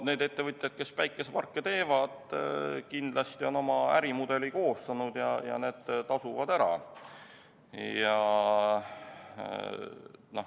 Need ettevõtjad, kes päikeseparke teevad, on kindlasti oma ärimudeli koostanud, ja need tasuvad ära.